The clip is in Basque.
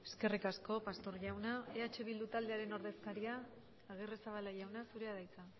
eskerrik asko pastor jauna eh bildu taldearen ordezkaria agirrezabala jauna zurea da hitza